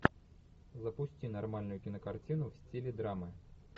запусти нормальную кинокартину в стиле драмы